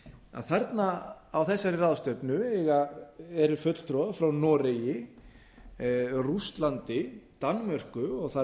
að þarna á þessari ráðstefnu eru fulltrúar frá noregi rússlandi danmörku og þar